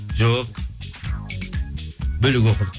жоқ бөлек оқыдық